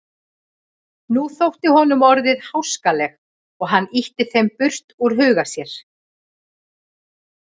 Nú þóttu honum orðin háskaleg og hann ýtti þeim burt úr huga sér.